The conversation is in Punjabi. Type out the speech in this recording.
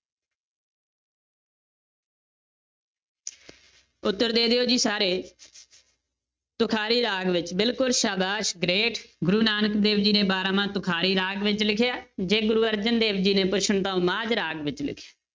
ਉੱਤਰ ਦੇ ਦਿਓ ਜੀ ਸਾਰੇ ਤੁਖਾਰੀ ਰਾਗ ਵਿੱਚ ਬਿਲਕੁਲ ਸਾਬਾਸ਼ great ਗੁਰੂ ਨਾਨਕ ਦੇਵ ਜੀ ਨੇ ਬਾਰਾਂਮਾਂਹ ਤੁਖਾਰੀ ਰਾਗ ਵਿੱਚ ਲਿਖਿਆ ਹੈ, ਜੇ ਗੁਰੂ ਅਰਜਨ ਦੇਵ ਜੀ ਨੇ ਪੁੱਛਣ ਤਾਂ ਉਹ ਮਾਝ ਰਾਗ ਵਿੱਚ ਲਿਖਿਆ।